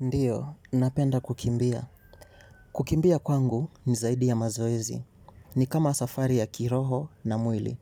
Ndiyo napenda kukimbia. Kukimbia kwangu ni zaidi ya mazoezi. Ni kama safari ya kiroho na mwili.